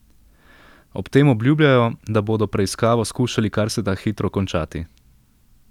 Ob tem obljubljajo, da bodo preiskavo skušali kar se da hitro končati.